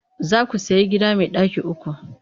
Za ku sayi gida mai ɗaki uku?